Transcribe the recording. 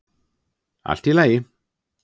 Allt í lagi.